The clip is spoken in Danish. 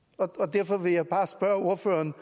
derfor vil jeg bare spørge ordføreren